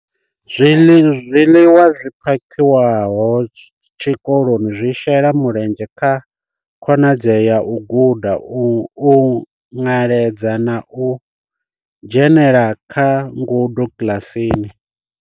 Zwiḽiwa zwi phakhiwaho tshikoloni zwi shela mulenzhe kha khonadzeo ya u guda u nweledza na u dzhenela kha ngudo kiḽasini.